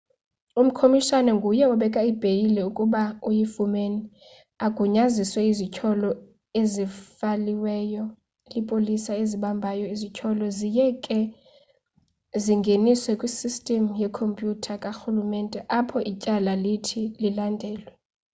umkomishana nguye obeka ibheyile ukuba uyifumene agunyazise izithyolo ezifayilwe lipolisa elibambayo.izithyolo ziye ke zingeniswe kwisystem yekompyutha karhulumente apho ityala lithi lilandelelwe